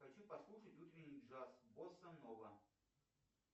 хочу послушать утренний джаз босса нова